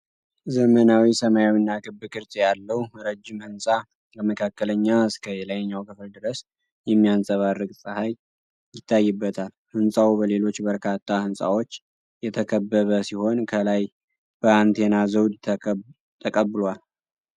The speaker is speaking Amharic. ዘመናዊ፣ ሰማያዊና ክብ ቅርጽ ያለው ረጅም ሕንፃ ከመካከለኛ እስከ የላይኛው ክፍል ድረስ የሚያንፀባርቅ ፀሐይ ይታይበታል። ሕንፃው በሌሎች በርካታ ሕንፃዎች የተከበበ ሲሆን፣ ከላይ በአንቴና ዘውድ ተቀብሏል።